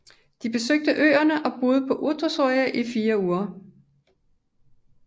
De besøgte øerne og boede på Uotsuri i fire uger